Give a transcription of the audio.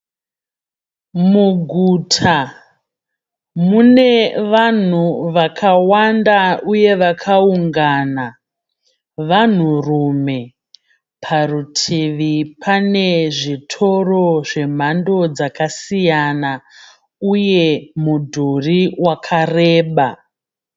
Muguta mune vanhu vakawanda uye vakaungana vanhurume. Parutivi pane zvitoro zvemhando dzakasiyana uye mudhuri wakareba.